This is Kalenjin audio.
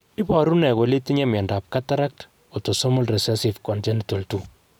Iporu ne kole itinye miondap Cataract, autosomal recessive congenital 2?